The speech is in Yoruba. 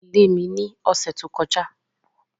Adìẹ lé mi ní ọ̀sẹ̀ tó kọjá.